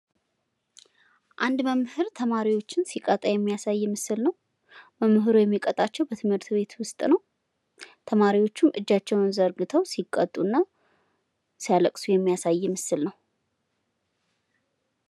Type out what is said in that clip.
የአዋቂዎች ትምህርት ዕድሜያቸው ለትምህርት ያልደረሰ ወይም ትምህርታቸውን ያቋረጡ ሰዎች ዕውቀትና ክህሎት እንዲያገኙ ይረዳል።